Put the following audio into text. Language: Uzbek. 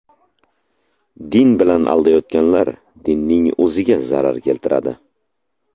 Din bilan aldayotganlar dinning o‘ziga zarar keltiradi.